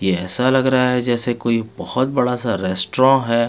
ये ऐसा लग रहा है जैसे कोई बोहोत बडासा रेस्ट्रॉ है.